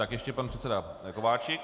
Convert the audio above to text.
Tak ještě pan předseda Kováčik.